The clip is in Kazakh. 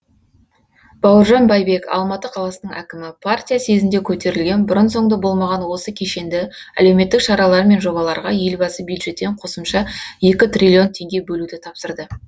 бауыржан байбек алматы қаласының әкімі партия съезінде көтерілген бұрын соңды болмаған осы кешенді әлеуметтік шаралар мен жобаларға елбасы бюджеттен қосымша екі триллион теңге бөлуді тапсырды